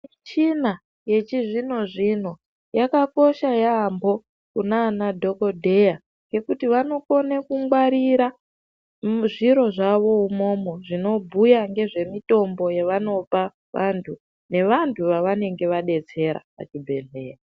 Michina yechi zvino zvino yakakosha yambo kunana dhokodheya nekuti vanokone kungwarirwa zviro zvavo imwomwo zvinobhuya ngezve mitombo zvavanopa vantu ne vantu vavanenge va detsera pa chibhedhlera.